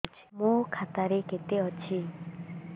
ମୋ ଖାତା ରେ କେତେ ଅଛି